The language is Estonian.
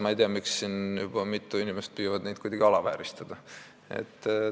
Ma ei tea, miks siin juba mitu inimest neid kuidagi alavääristada püüavad.